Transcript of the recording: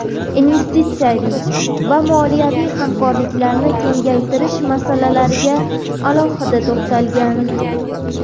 investitsiyaviy va moliyaviy hamkorlikni kengaytirish masalalariga alohida to‘xtalgan.